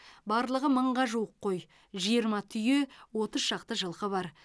барлығы мыңға жуық қой жиырма түйе отыз шақты жылқы бар